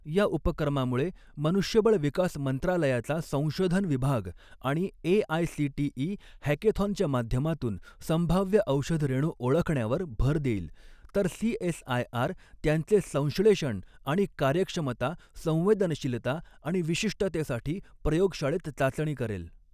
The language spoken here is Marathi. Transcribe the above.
या उपक्रमामुळे मनुष्यबळ विकास मंत्रालयाचा संशोधन विभाग आणि एआयसीटीई हॅकॆथॉनच्या माध्यमातून संभाव्य औषध रेणू ओळखण्यावर भर देईल तर सीएसआयआर त्यांचे संश्लेषण आणि कार्यक्षमता, संवेदनशीलता आणि विशिष्टतेसाठी प्रयोगशाळेत चाचणी करेल.